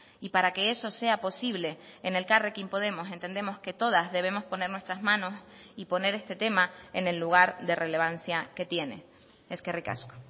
y para que eso sea posible en elkarrekin podemos entendemos que todas debemos poner nuestras manos y poner este tema en el lugar de relevancia que tiene eskerrik asko